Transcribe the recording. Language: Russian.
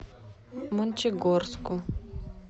мончегорску